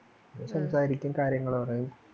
സംസാരിക്കും കാര്യങ്ങൾ പറയും